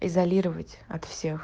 изолировать от всех